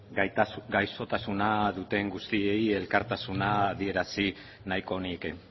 ehun gaixotasuna duten guztiei elkartasuna adierazi nahiko nieke